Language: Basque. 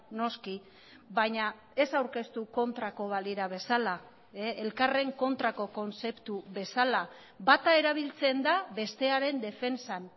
noski baina ez aurkeztu kontrako balira bezala elkarren kontrako kontzeptu bezala bata erabiltzen da bestearen defentsan